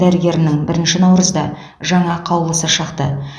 дәрігерінің бірінші наурызда жаңа қаулысы шықты